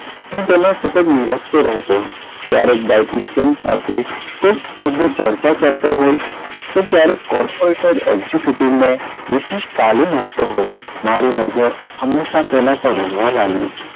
હું તેને સતત નીરખતો રહેતો ક્યારેક dietitian સાથે કોક રીતે ચર્ચા કરતો હોય કે ક્યારેક corporater executive ને વિશિષ્ટ તાલીમ આપતો હોય મારી નજર હમેશાં તેનાં પર રહેવાં લાગી.